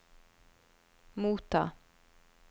motta